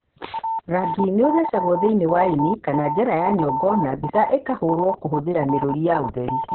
Rangi nĩ ũthecagwo thĩinĩ wa ĩni kana njĩra-inĩ ya nyongo na mbica ĩkahũrwo kũhũthĩra mĩrũri ya ũtheri.